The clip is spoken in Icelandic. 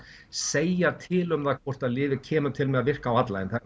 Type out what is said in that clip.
segja til um það hvort að lyfið kemur til með að virka á alla en